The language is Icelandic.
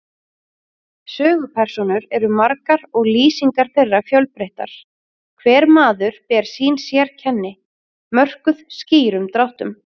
Sögupersónur eru margar og lýsingar þeirra fjölbreyttar, hver maður ber sín sérkenni, mörkuð skýrum dráttum.